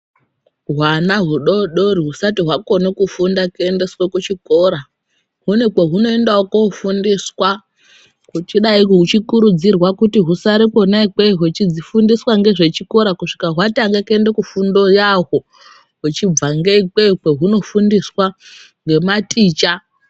Hwana hudodori husati wakona kuendeswa kuchikora kune kwahunoendwawo kundofundiswa Huchidai uchikurudzirwa kuti usare ikweyo huchifundiswa nezvechikoro kuti dzifundiswe fundo yadzo huchibva neikweyo kwahunofundiswa nematicha.